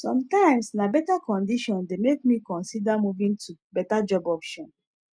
sometimes na better condition dey make me consider moving to better job option